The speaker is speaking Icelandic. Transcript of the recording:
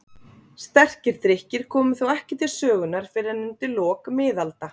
Sterkir drykkir komu þó ekki til sögunnar fyrr en undir lok miðalda.